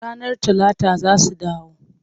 Ranar Talata za su dawo.